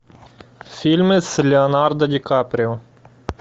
фильмы с леонардо ди каприо